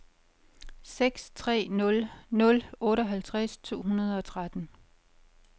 seks tre nul nul otteoghalvtreds to hundrede og tretten